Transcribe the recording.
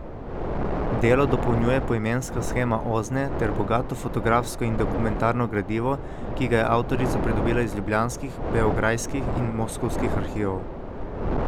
Delo dopolnjuje poimenska shema Ozne ter bogato fotografsko in dokumentarno gradivo, ki ga je avtorica pridobila iz ljubljanskih, beograjskih in moskovskih arhivov.